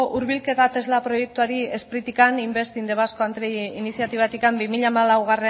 hurbilketa tesla proiektuari spritik investing in the basque country iniziatibatik bi mila hamalaugarrena